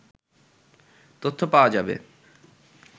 তথ্য পাওয়া যাবে